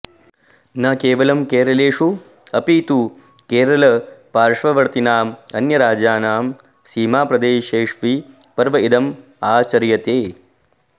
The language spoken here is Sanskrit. न केवलं केरलेषु अपि तु केरलपाश्ववर्तीनाम् अन्यराज्यानां सीमाप्रदेशेष्वि पर्व इदम् आचर्यते